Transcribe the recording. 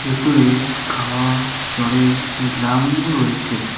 দূরে খাওয়ার জলের ড্রাম -ও রয়েছে।